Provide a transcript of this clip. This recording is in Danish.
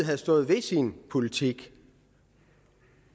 havde stået ved sin politik